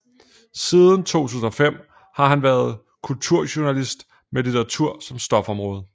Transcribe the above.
Siden 2005 har han været kulturjournalist med litteratur som stofområde